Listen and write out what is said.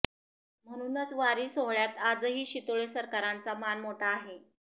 म्हणूनच वारी सोहळ्यात आजही शितोळे सरकारांचा मान मोठा आहे